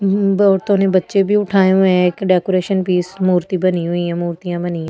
औरतों ने बच्चे भी उठाए हुए हैं एक डेकोरेशन पीस मूर्ति बनी हुई है मूर्तियां बनी ।